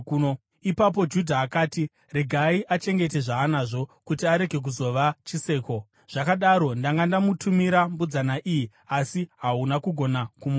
Ipapo Judha akati, “Regai achengete zvaanazvo, kuti arege kuzova chiseko. Zvakadaro ndanga ndamutumira mbudzana iyi, asi hauna kugona kumuwana.”